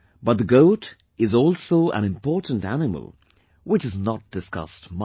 But the goat is also an important animal, which is not discussed much